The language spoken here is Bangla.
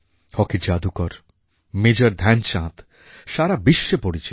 হকির জাদুকর মেজর ধ্যানচাঁদ সারা বিশ্বে পরিচিতি